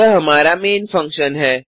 यह हमारा main function है